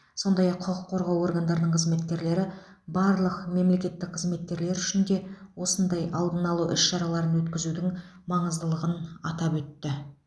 сондай ақ құқық қорғау органдарының қызметкерлері барлық мемлекеттік қызметкерлер үшін де осындай алдын алу іс шараларын өткізудің маңыздылығын атап өтті